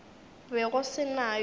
be go se na yo